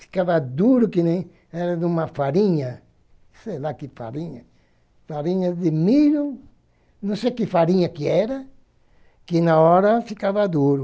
Ficava duro que nem era de uma farinha, sei lá que farinha, farinha de milho, não sei que farinha que era, que na hora ficava duro.